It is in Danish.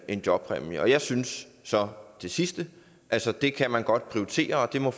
en jobpræmie og jeg synes så det sidste altså det kan man godt prioritere og det må